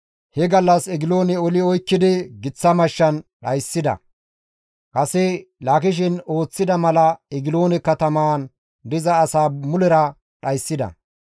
He gallas Egiloone oli oykkidi giththa mashshan dhayssida; kase Laakishen ooththida mala Egiloone katamaan diza asaa mulera dhayssida.